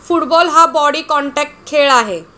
Football हा body contact खेळ आहे.